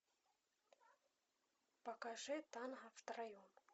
покажи танго втроем